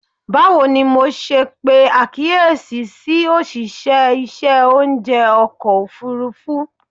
Bawo ni MO ṣe pe akiyesi ti oṣiṣẹ iṣẹ ounjẹ ọkọ ofurufu?